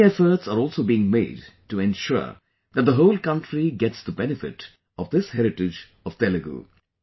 Many efforts are also being made to ensure that the whole country gets the benefit of this heritage of Telugu